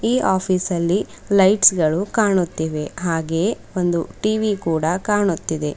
ಈ ಆಫೀಸಲ್ಲಿ ಲೈಟ್ಸ್ ಗಳು ಕಾಣುತ್ತಿವೆ ಹಾಗೇಯೆ ಒಂದು ಟಿ_ವಿ ಕೂಡ ಕಾಣುತ್ತಿದೆ.